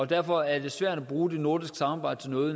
derfor er det svært at bruge det nordiske samarbejde til noget